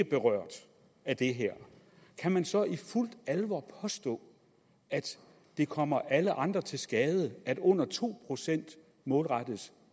berørt af det her kan man så i fuld alvor påstå at det kommer alle andre til skade at under to procent målrettes